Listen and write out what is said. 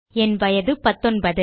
என் வயது 19